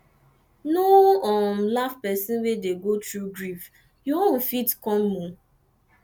no um laugh person wey dey go through grief your own turn fit come